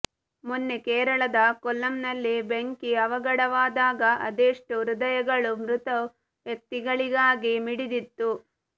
ಮೊನ್ನೆ ಕೇರಳದ ಕೊಲ್ಲಂ ನಲ್ಲಿ ಬೆಂಕಿ ಅವಘಡವಾದಾಗ ಅದೆಷ್ಟೋ ಹೃದಯಗಳು ಮೃತ ವ್ಯಕ್ತಿಗಳಿಗಾಗಿ ಮಿಡಿದಿತ್ತು